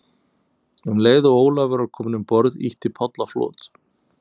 Um leið og Ólafur var kominn um borð, ýtti Páll á flot.